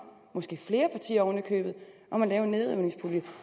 måske flere partier oven i købet om at lave en nedrivningspulje